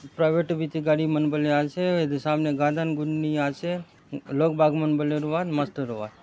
प्राइवेट बीती गाड़ी मन बले आछे एदे सामने गादन गुन्नी आछे लोग बाग मन बले रुआत मस्त रुआत।